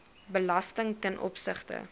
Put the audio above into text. belasting ten opsigte